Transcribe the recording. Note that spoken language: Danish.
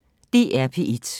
DR P1